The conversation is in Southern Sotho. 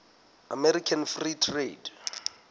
american free trade